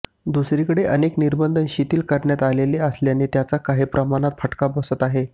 दुसरीकडे अनेक निर्बंध शिथील करण्यात आलेले असल्याने त्याचा काही प्रमाणात फटका बसत आहे